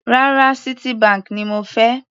Rárá, Citibank ni mo fẹ́.